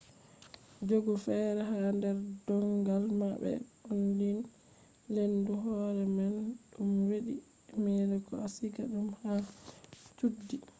jogu fere ha der dongal ma be onlyne lendu hore man dum hedi e-mail ko a siga dum ha chuddi